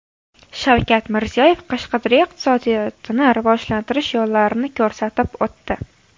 Shavkat Mirziyoyev Qashqadaryo iqtisodiyotini rivojlantirish yo‘llarini ko‘rsatib o‘tdi.